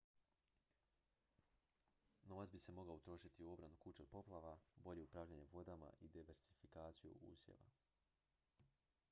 novac bi se mogao utrošiti u obranu kuća od poplava bolje upravljanje vodama i diversifikaciju usjeva